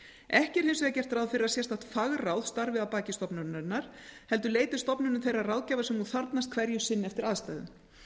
ekki er hins vegar gert ráð fyrir að sérstakt fagráð starfi að baki stofnuninni heldur leiti stofnunin þeirrar ráðgjafar sem hún þarfnast hverju sinni eftir aðstæðum